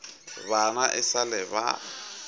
bana e sa le ba